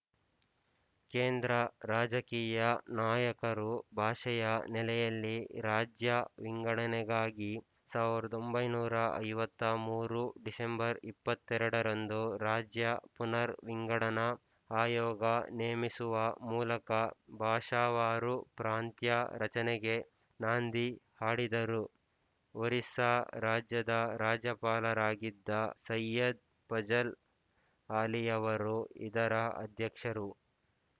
ಕೇಂದ್ರ ರಾಜಕೀಯ ನಾಯಕರು ಭಾಷೆಯ ನೆಲೆಯಲ್ಲಿ ರಾಜ್ಯ ವಿಂಗಡನೆಗಾಗಿ ಸಾವಿರದ ಒಂಬೈನೂರ ಐವತ್ತ್ ಮೂರು ಡಿಸೆಂಬರ್ ಇಪ್ಪತ್ತ್ ಎರಡರಂದು ರಾಜ್ಯ ಪುನರ್ ವಿಂಗಡನಾ ಆಯೋಗ ನೇಮಿಸುವ ಮೂಲಕ ಭಾಷಾವಾರು ಪ್ರಾಂತ್ಯ ರಚನೆಗೆ ನಾಂದಿ ಹಾಡಿದರು ಒರಿಸ್ಸಾ ರಾಜ್ಯದ ರಾಜ್ಯಪಾಲರಾಗಿದ್ದ ಸೈಯದ್ ಫಜಲ್ ಆಲಿಯವರು ಇದರ ಅಧ್ಯಕ್ಷರು